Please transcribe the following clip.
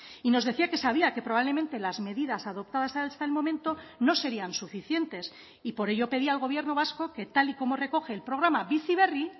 y nos decía que sabía que probablemente las medidas adoptadas hasta el momento no serían suficientes y por ello pedía al gobierno vasco que tal y como recoge el programa bizi berri